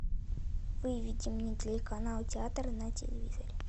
выведи мне телеканал театр на телевизоре